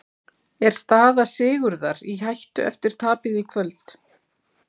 Er staða Sigurðar í hættu eftir tapið í kvöld?